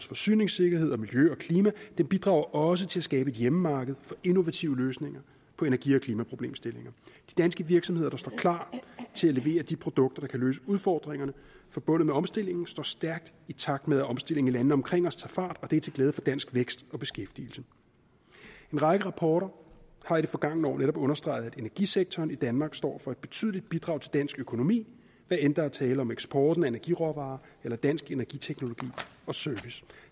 forsyningssikkerhed og miljø og klima den bidrager også til at skabe et hjemmemarked for innovative løsninger på energi og klimaproblemstillinger de danske virksomheder der står klar til at levere de produkter der kan løse udfordringerne forbundet med omstillingen står stærkt i takt med at omstillingen i landene omkring os tager fart og det er til glæde for dansk vækst og beskæftigelse en række rapporter har i det forgangne år netop understreget at energisektoren i danmark står for et betydeligt bidrag til dansk økonomi hvad enten der er tale om eksporten af energiråvarer eller dansk energiteknologi og service